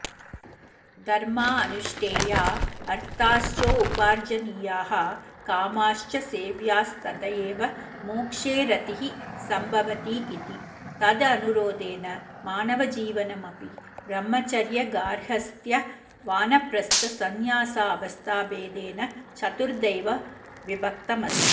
धर्मा अनुष्ठेया अर्थाश्चोपार्जनीयाः कामाश्च सेव्यास्तत एव मोक्षे रतिः सम्भवतीति तदनुरोधेन मानवजीवनमपि ब्रह्मचर्यगार्हस्थ्यवानप्रस्थसंन्यासावस्थाभेदेन चतुर्दैव विभक्तमस्ति